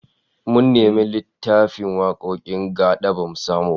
Mun nemi littafin wakokin gad'a bamu samu ba